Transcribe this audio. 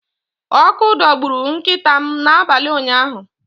Ọkụ dọgburu nkịta m n’abalị ụnyaahụ.